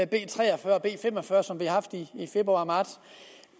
b tre og fyrre og b fem og fyrre som vi har haft i februar og marts